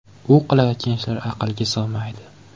U qilayotgan ishlar aqlga sig‘maydi”.